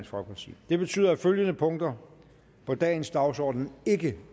folkeparti det betyder at følgende punkter på dagens dagsorden ikke